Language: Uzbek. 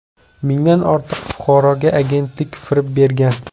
Mingdan ortiq fuqaroga agentlik firib bergan.